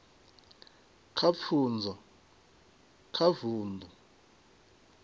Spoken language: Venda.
kha pfunzo kha vundu